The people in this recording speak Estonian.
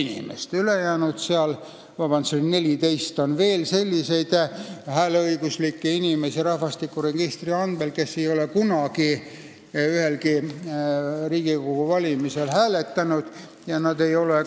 Rahvastikuregistri andmetel on umbes 14 000 sellist hääleõiguslikku inimest, kes ei ole kunagi ühelgi Riigikogu valimisel hääletanud ja kes ei ole